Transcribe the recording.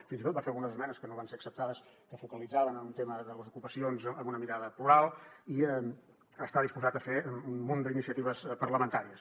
fins i tot va fer algunes esmenes que no van ser acceptades que es focalitzaven en un tema de les ocupacions amb una mirada plural i està disposat a fer un munt d’iniciatives parlamentàries